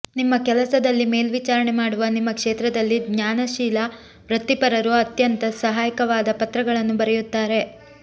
ನಿಮ್ಮ ಕೆಲಸದಲ್ಲಿ ಮೇಲ್ವಿಚಾರಣೆ ಮಾಡುವ ನಿಮ್ಮ ಕ್ಷೇತ್ರದಲ್ಲಿ ಜ್ಞಾನಶೀಲ ವೃತ್ತಿಪರರು ಅತ್ಯಂತ ಸಹಾಯಕವಾದ ಪತ್ರಗಳನ್ನು ಬರೆಯುತ್ತಾರೆ